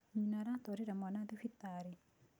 Nyina aratwarire mwana thibitarĩ.